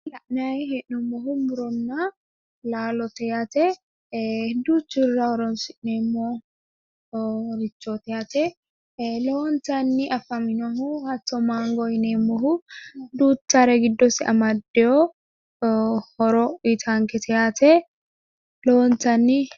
La'nayi hee'noommohu muronna laalote yaate duuchurira horonsi'neemmorichooti yaate lowontanni afaminohu hatto maango yineemmohu duuchare giddosi amaddeyo horo uyitankete yaate lowontanni.